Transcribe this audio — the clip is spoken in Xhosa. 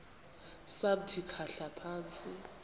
samthi khahla phantsi